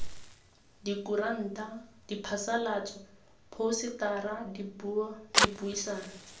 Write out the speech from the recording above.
dikuranta diphasalatso phousetara dipuo dipuisano